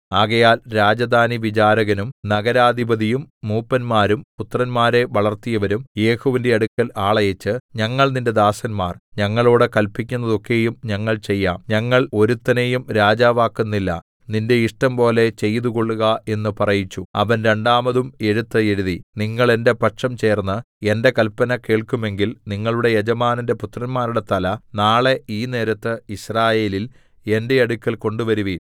ആകയാൽ രാജധാനിവിചാരകനും നഗരാധിപതിയും മൂപ്പന്മാരും പുത്രന്മാരെ വളർത്തിയവരും യേഹൂവിന്റെ അടുക്കൽ ആളയച്ച് ഞങ്ങൾ നിന്റെ ദാസന്മാർ ഞങ്ങളോട് കല്പിക്കുന്നതൊക്കെയും ഞങ്ങൾ ചെയ്യാം ഞങ്ങൾ ഒരുത്തനെയും രാജാവാക്കുന്നില്ല നിന്റെ ഇഷ്ടംപോലെ ചെയ്തുകൊള്ളുക എന്ന് പറയിച്ചു അവൻ രണ്ടാമതും എഴുത്ത് എഴുതി നിങ്ങൾ എന്റെ പക്ഷം ചേർന്ന് എന്റെ കല്പന കേൾക്കുമെങ്കിൽ നിങ്ങളുടെ യജമാനന്റെ പുത്രന്മാരുടെ തല നാളെ ഈ നേരത്ത് യിസ്രായേലിൽ എന്റെ അടുക്കൽ കൊണ്ടുവരുവിൻ